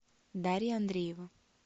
дарья андреева